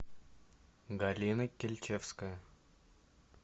галина кильчевская